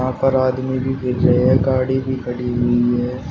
पर आदमी भी रहे है गाड़ी भी खड़ी हुई है।